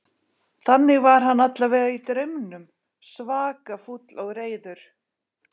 Þannig var hann allavega í draumnum, svaka fúll og reiður.